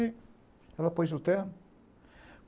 E ela pôs o terno.